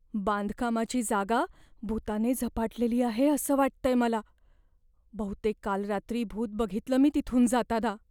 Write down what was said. बांधकामाची जागा भुताने झपाटलेली आहे असं वाटतंय मला. बहुतेक काल रात्री भूत बघितलं मी तिथून जाताना.